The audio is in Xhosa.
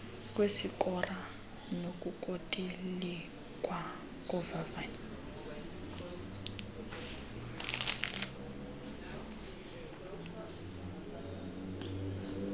kwesikora nokutolikwa kovavanyo